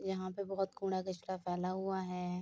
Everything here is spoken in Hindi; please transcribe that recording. यहाँ पे बहोत कूँड़ा कचरा फैला हुआ है।